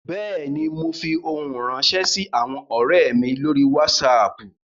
Bẹ́ẹ̀ ni, mo fi ohun ránṣẹ́ sí àwọn ọ̀rẹ́ mi lórí Wásaapù